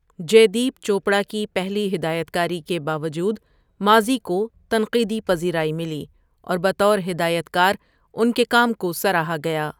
جے دیپ چوپڑا کی پہلی ہدایتکاری کے باوجود، ماضی کو تنقیدی پذیرائی ملی اور بطور ہدایت کار ان کے کام کو سراہا گیا۔